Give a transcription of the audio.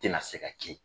Tɛna se ka kɛ